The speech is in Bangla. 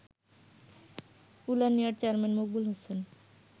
উলানিয়ার চেয়ারম্যান মকবুল হোসেন